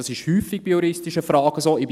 Dies ist häufig bei juristischen Fragen so.